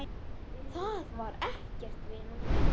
Það var ekkert, vinan.